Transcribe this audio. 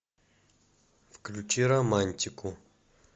включи романтику